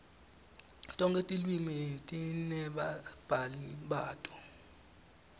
tonkhe tilwimi tinebabhali bato